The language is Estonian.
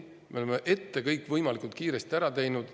Me oleme kõik juba ette võimalikult kiiresti ära teinud.